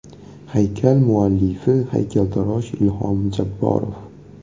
Haykal muallifi haykaltarosh Ilhom Jabborov.